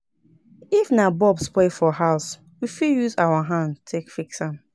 If na bulb spoil for house, we fit use our hand take fix am